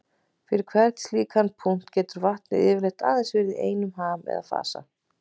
Fyrir hvern slíkan punkt getur vatnið getur yfirleitt aðeins verið í einum ham eða fasa.